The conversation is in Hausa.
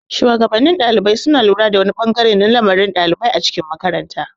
shuwagabannin ɗalibai suna lura da wani bangare na lamarin ɗalibai a cikin makaranta.